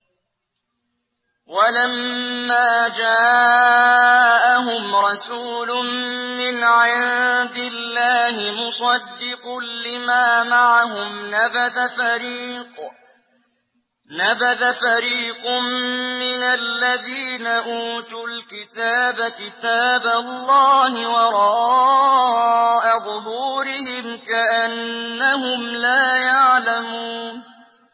وَلَمَّا جَاءَهُمْ رَسُولٌ مِّنْ عِندِ اللَّهِ مُصَدِّقٌ لِّمَا مَعَهُمْ نَبَذَ فَرِيقٌ مِّنَ الَّذِينَ أُوتُوا الْكِتَابَ كِتَابَ اللَّهِ وَرَاءَ ظُهُورِهِمْ كَأَنَّهُمْ لَا يَعْلَمُونَ